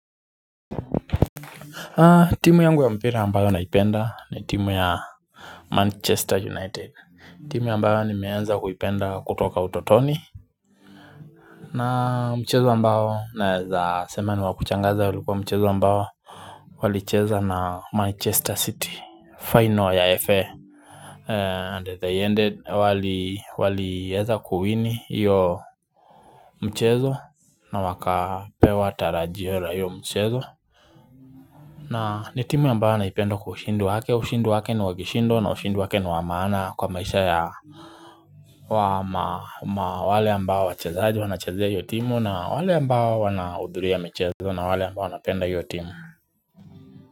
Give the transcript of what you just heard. Timu yangu ya mpira ambayo naipenda ni timu ya Manchester United timu ambayo nimeanza kuipenda kutoka utotoni na mchezo ambayo naeza sema ni wa kuchangaza ulikuwa mchezo ambayo Walicheza na Manchester City Final ya FA and they ended wali wali eza kuwini iyo Mchezo na wakapewa tarajiwela iyo mchezo na ni timu ambayo wanaipenda kwa ushindi wake, ushindi wake ni wakishindo na ushindi wake niwa maana kwa maisha ya wale ambao wachazaji wanachazea iyo timu na wale ambao wanahudhulia michezo na wale ambao napenda iyo timu.